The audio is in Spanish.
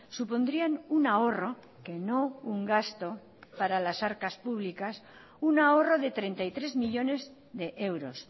supondrían un ahorro que no un gasto para las arcas públicas un ahorro de treinta y tres millónes de euros